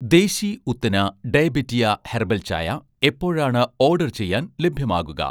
ദേശി ഉത്തന ഡയബെറ്റിയ' ഹെർബൽ ചായ എപ്പോഴാണ് ഓഡർ ചെയ്യാൻ ലഭ്യമാകുക